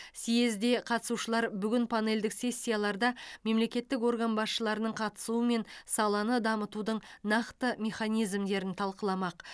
създге қатысушылар бүгін панельдік сессияларда мемлекеттік орган басшыларының қатысуымен саланы дамытудың нақты механизмдерін талқыламақ